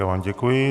Já vám děkuji.